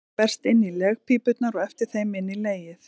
Eggið berst inn í legpípurnar og eftir þeim inn í legið.